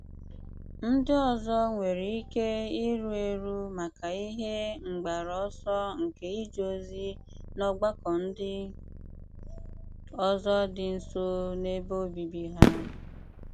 Ndị́ òzọ̀ nwèrè íké ìrù érù maka ihe mgbàrú ọ̀sọ̀ nke ìje ozi n’ọ̀gbàkọ́ ndị́ òzọ̀ dị́ nso n’ebe óbìbì ha.